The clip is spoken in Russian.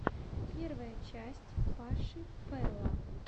первая часть паши пэла